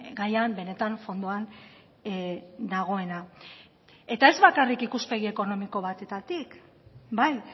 gaian benetan fondoan dagoena eta ez bakarrik ikuspegi ekonomiko batetatik bai